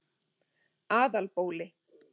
Aðalbóli